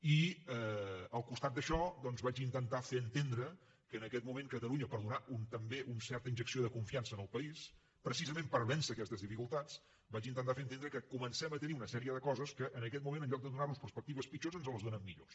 i al costat d’això doncs vaig intentar fer entendre que en aquest moment catalunya per donar també una certa injecció de confiança en el país precisament per vèncer aquestes dificultats que comencem a tenir una sèrie de coses que en aquest moment en lloc de donar nos perspectives pitjors ens en donen de millors